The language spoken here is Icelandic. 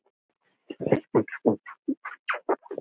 Hvað vinnur með öðru.